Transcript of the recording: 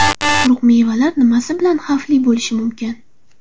Quruq mevalar nimasi bilan xavfli bo‘lishi mumkin?.